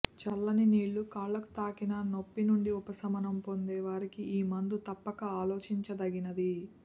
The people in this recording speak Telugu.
చల్లని నీల్లు కాళ్ళకు తాకిన నొప్పి నుండి ఉపశమనం పొందే వారికి ఈ మందు తప్పక ఆలోచించదగినది